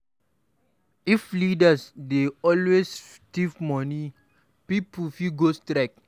If leaders dey always thief money, pipo fit go strike.